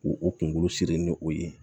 K'u u kunkolo siri ni o ye